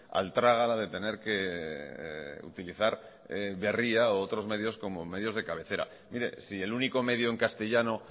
al trágala de tener que utilizar berria u otros medios como medios de cabecera mire si el único medio en castellano